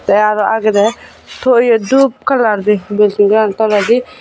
tey aro agedey to ye dup kalar di bilding an toledi.